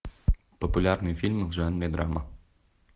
популярные фильмы в жанре драма